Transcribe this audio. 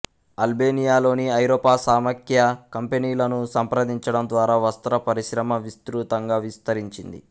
అల్బేనియాలోని ఐరోపా సమాఖ్య కంపెనీలను సంప్రదించడం ద్వారా వస్త్ర పరిశ్రమ విస్తృతంగా విస్తరించింది